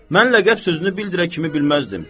Mən ləqəb sözünü bildirə kimi bilməzdim.